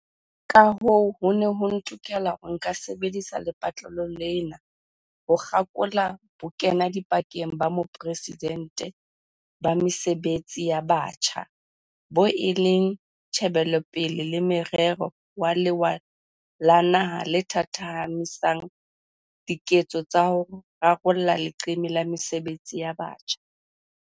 Kahoo, ho ne ho ntokela hore nka sebedisa lepatlelo lena ho kgakola Bokenadipakeng ba Moporesidente ba Mesebetsi ya Batjha, boo e leng tjhebelopele le morero wa lewa la naha le thathamisang diketso tsa ho rarolla leqeme la mesebetsi ya batjha.